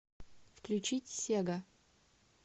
включить сега